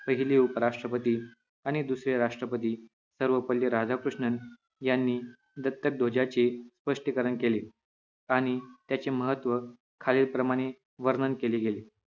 पहिले उपराष्ट्रपती आणि दुसरे राष्ट्रपती सर्वपल्ली राधाकुष्णन यांनी दत्तक ध्वजाचे स्पष्टीकरण केले आणि त्याचे महत्व खालील प्रमाणे वर्णन केले गेले